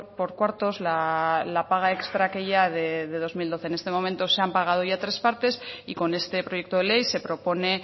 por cuartos la paga extra aquella de dos mil doce en este momento se han pagado ya tres partes y con este proyecto de ley se propone